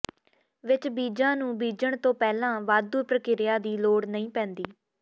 ਵਿਚ ਬੀਜਾਂ ਨੂੰ ਬੀਜਣ ਤੋਂ ਪਹਿਲਾਂ ਵਾਧੂ ਪ੍ਰਕ੍ਰਿਆ ਦੀ ਲੋੜ ਨਹੀਂ ਪੈਂਦੀ